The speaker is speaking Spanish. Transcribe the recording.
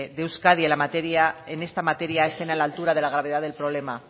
de euskadi en esta materia estén a la altura de la gravedad del problema